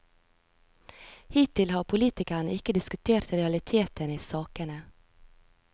Hittil har politikerne ikke diskutert realitetene i sakene.